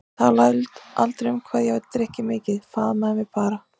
Talaði aldrei um það hvað ég drykki mikið, faðmaði mig bara.